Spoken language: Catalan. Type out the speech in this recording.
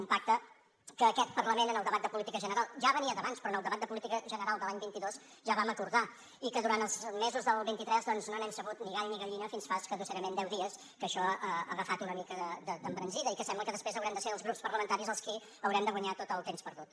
un pacte que aquest parlament en el debat de política general ja venia d’abans però en el debat de política general de l’any vint dos ja vam acordar i que durant els mesos del vint tres doncs no n’hem sabut ni gall ni gallina fins fa escassament deu dies que això ha agafat una mica d’embranzida i que sembla que després haurem de ser els grups parlamentaris els qui haurem de guanyar tot el temps perdut